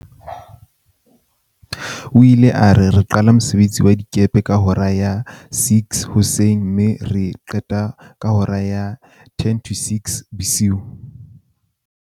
O ile a re, "re qala ka mosebetsi wa dikepe ka hora ya 06:00 mme re qete ka hora ya 17:50."